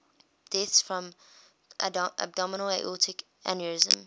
deaths from abdominal aortic aneurysm